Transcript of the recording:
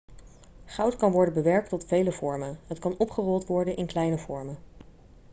goud kan worden bewerkt tot vele vormen het kan opgerold worden in kleine vormen